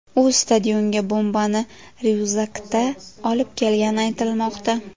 U stadionga bombani ryukzakda olib kelgani aytilmoqda.